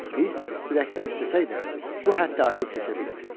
Biz ürəkdən istəsək də bu həddi aşıb keçə bilmirdik.